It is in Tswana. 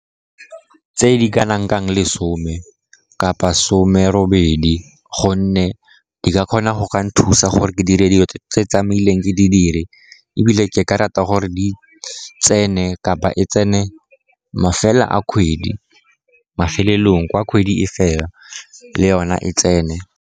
Tse di kanang ka lesome kapa some robedi, gonne di ka kgona go ka nthusa gore ke dire dilo tse tlamehileng ke di dire, ebile ke ka rata gore di tsene kapa e tsene mafelo a kgwedi, mafelelong kwa kgwedi e fela le yona e tsene.